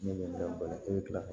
Ne bɛ balo e bɛ tila ka